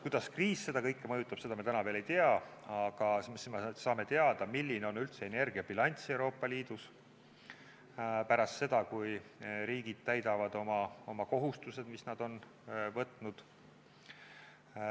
Kuidas kriis seda kõike mõjutab, seda me täna veel ei tea, aga siis me saame teada, milline on üldse energiabilanss Euroopa Liidus, pärast seda, kui riigid täidavad oma kohustused, mis nad on võtnud.